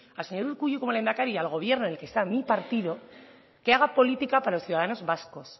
al señor urkullo como lehendakari y al gobierno en el que está mi partido que haga política para los ciudadanos vascos